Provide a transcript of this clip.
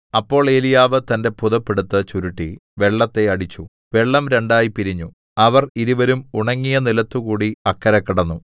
അപ്പോൾ ഏലീയാവ് തന്റെ പുതപ്പ് എടുത്ത് ചുരുട്ടി വെള്ളത്തെ അടിച്ചു വെള്ളം രണ്ടായി പിരിഞ്ഞു അവർ ഇരുവരും ഉണങ്ങിയ നിലത്തുകൂടി അക്കരെ കടന്നു